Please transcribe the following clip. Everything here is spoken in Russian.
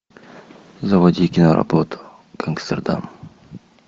заводи киноработу гангстердам